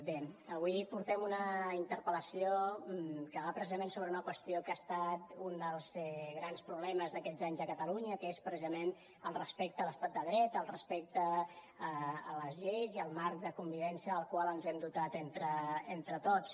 bé avui portem una interpel·lació que va precisament sobre una qüestió que ha estat un dels grans problemes d’aquests anys a catalunya que és precisament el respecte a l’estat de dret el respecte a les lleis i al marc de convivència del qual ens hem dotat entre tots